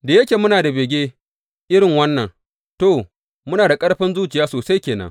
Da yake muna da bege irin wannan, to, muna da ƙarfin zuciya sosai ke nan.